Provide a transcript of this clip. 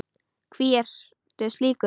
Hví ertu slíkur?